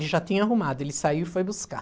Ele já tinha arrumado, ele saiu e foi buscar.